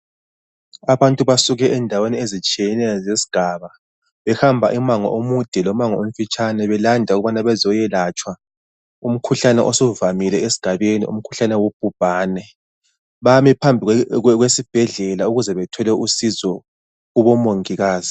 Abantu basuke endaweni ezitshiyeneyo zesigaba, behamba umango omude lomango omfitshane belanda ukuba bazokwelatshwa umkhuhlane osuvamile esigabeni , umkhuhlane wobhubhane. Bame phambi kwesibhedlela ukuze bethole usizo kubomongikazi